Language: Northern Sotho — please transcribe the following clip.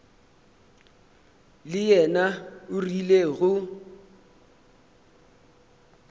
le yena o rile go